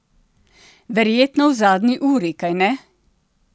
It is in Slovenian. Verjetno v zadnji uri, kajne?